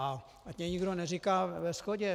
A ať mi nikdo neříká ve shodě.